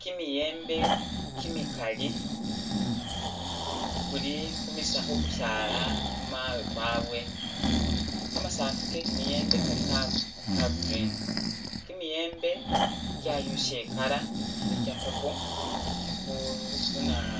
Kimiyembe kimikali kuli khumisa.. khumisaala khumawe kwabwe, kamasafu ke kimiyembe kali ka green, kimiyembe kyayusa e'colour kili kya'purple bu.. bunaa